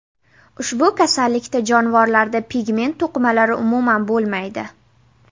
Ushbu kasallikda jonivorlarda pigment to‘qimalari umuman bo‘lmaydi.